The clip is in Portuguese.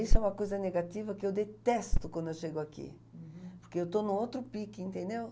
Isso é uma coisa negativa que eu detesto quando eu chego aqui, uhum, porque eu estou no outro pique, entendeu?